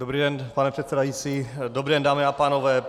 Dobrý den, pane předsedající, dobrý den, dámy a pánové.